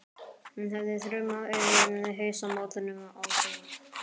Hann hefði þrumað yfir hausamótunum á þeim.